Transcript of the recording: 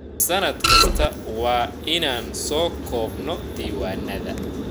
Sannad kasta waa inaan soo koobno ??diiwaannada.